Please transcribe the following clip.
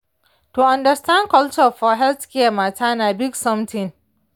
to understand culture for healthcare matter na big something.